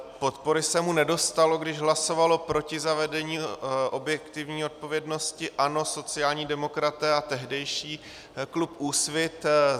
Podpory se mu nedostalo, když hlasovalo proti zavedení objektivní odpovědnosti ANO, sociální demokraté a tehdejší klub Úsvit.